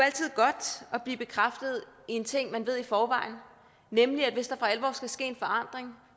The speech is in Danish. er blive bekræftet i en ting man ved i forvejen nemlig at hvis der for alvor skal ske en forandring